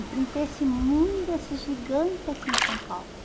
Enfrentei esse mundo, esse gigante aqui em São Paulo.